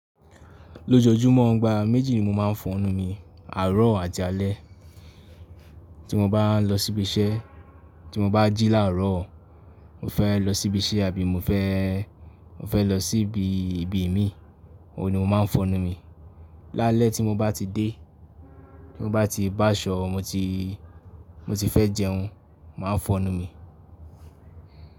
Lójojúmọ́ igbà méjì ni mo máa ń fọnu mi, àárọ̀ àti alẹ́. Tí mo bá ń lọ síbi iṣẹ́, tí mo bá jí làárọ̀, mo fẹ́ lọ síbi iṣẹ́ àbí mo fẹ́, mo fẹ́ lọ síbi ibi mi, òun ni mo máa ń fọnu mi. Lálẹ́ tí mo bá ti dé, tí mo bá ti báṣọ̀, mo ti, mo ti fẹ́ jẹun, màá fọnu mi.